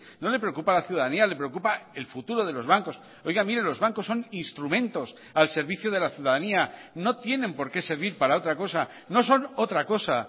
no le preocupa la ciudadanía le preocupa el futuro de los bancos oiga mire los bancos son instrumentos al servicio de la ciudadanía no tienen por qué servir para otra cosa no son otra cosa